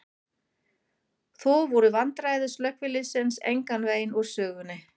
Þó voru vandræði slökkviliðsins engan veginn úr sögunni.